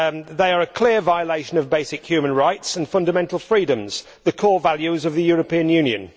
They are a clear violation of basic human rights and fundamental freedoms, the core values of the European Union.